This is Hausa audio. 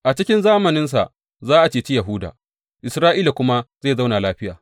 A cikin zamaninsa za a ceci Yahuda Isra’ila kuma zai zauna lafiya.